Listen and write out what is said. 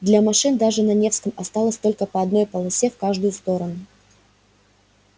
для машин даже на невском осталось только по одной полосе в каждую сторону